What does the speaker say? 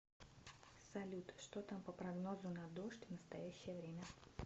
салют что там по прогнозу на дождь в настоящее время